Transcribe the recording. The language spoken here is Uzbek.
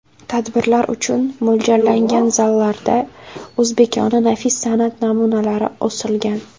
Tadbirlar uchun mo‘ljallangan zallarda o‘zbekona nafis san’at namunalari osilgan.